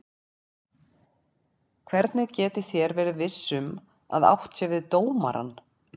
Hvernig getið þér verið viss um að átt sé við dómarann?